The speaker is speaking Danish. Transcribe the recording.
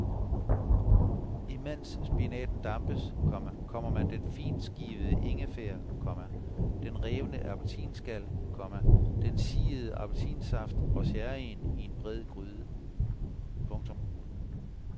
Imens spinaten dampes, komma kommer man den fintskivede ingefær, komma den revne appelsinskal, komma den siede appelsinsaft og sherryen i en bred gryde. punktum